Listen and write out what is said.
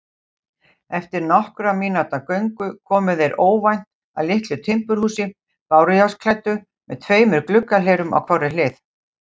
Eftir nokkurra mínútna göngu komu þeir óvænt að litlu timburhúsi, bárujárnsklæddu með tveimur gluggahlerum á hvorri hlið.